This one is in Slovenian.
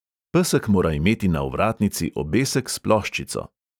Pesek mora imeti na ovratnici obesek s ploščico.